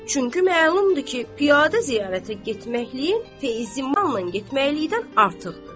Çünki məlumdur ki, piyada ziyarətə getməkləyin feyzi manla getməklikdən artıqdır.